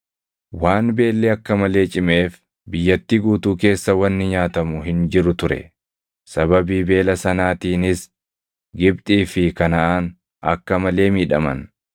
Waan beelli akka malee cimeef biyyattii guutuu keessa wanni nyaatamu hin jiru ture; sababii beela sanaatiinis Gibxii fi Kanaʼaan akka malee miidhaman.